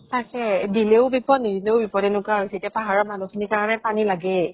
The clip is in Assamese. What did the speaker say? তাকেই। দিলেও বিপদ, নিদিলেও বিপদ, এনেকুৱা হৈছে এতিয়া পাহাৰৰ মানুহ খিনিৰ কাৰণে পানী লাগেই।